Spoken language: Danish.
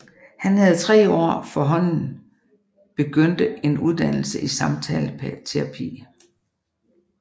Han havde tre år forhånden påbegyndte en uddannelse i samtaleterapi